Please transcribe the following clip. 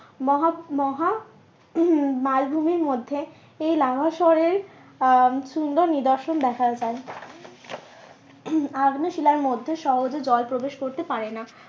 মহা, মহা মালভূমির মধ্যে এই লাভা স্বরের আহ সুন্দর নিদর্শন দেখা যায় আগ্নেয় শিলার মধ্যে সহজে জল প্রবেশ করতে পারে না।